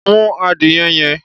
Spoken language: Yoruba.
Mú adìyẹ yẹn!